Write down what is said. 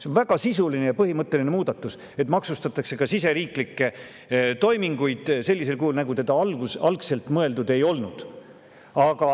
See on väga sisuline ja põhimõtteline muudatus, et maksustatakse ka siseriiklikke toiminguid sellisel kujul, nagu seda algselt mõeldud ei olnud.